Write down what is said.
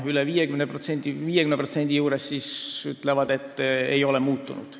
Umbes 50% väidab, et midagi ei ole muutunud.